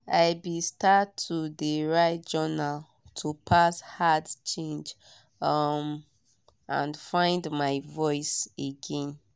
i be start to de write journal to pass hard change um and find my voice again.